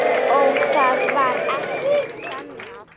Og þó varð ekkert sannað.